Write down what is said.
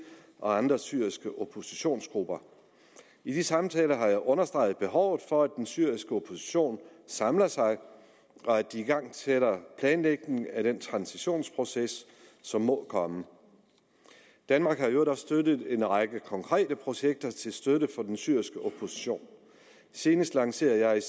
og andre syriske oppositionsgrupper i de samtaler har jeg understreget behovet for at den syriske opposition samler sig og at de igangsætter planlægning af den transitionsproces som må komme danmark har i øvrigt også støttet en række konkrete projekter til støtte for den syriske opposition senest lancerede